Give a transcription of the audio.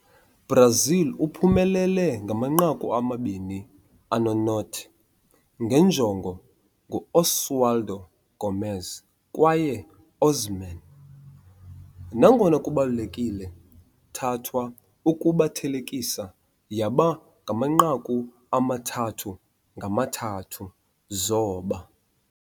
- Brazil uphumelele 2-0 nge njongo ngu-Oswaldo Gomes kwaye Osman, nangona kubalulekile thathwa ukuba thelekisa yaba 3-3 zoba.